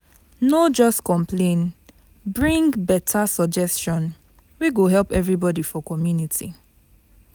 No just complain, bring better suggestion wey go help everybody for community.